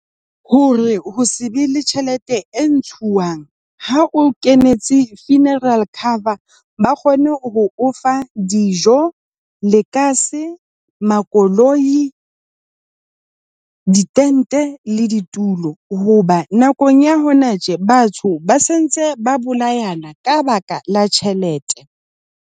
Hore ho se be le tjhelete e ha o kenetse funeral cover, ba kgone ho o fa dijo, lekase, makoloi, ditente le ditulo. Hoba nakong ya hona tje batho ba se ntse ba bolayana ka baka la tjhelete.